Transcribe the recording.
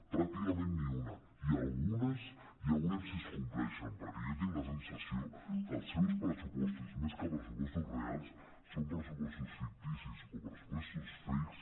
pràcticament ni una i algunes ja veu·rem si es compleixen perquè jo tinc la sensació que els seus pressupostos més que pres·supostos reals són pressupostos ficticis o pressupostos fakes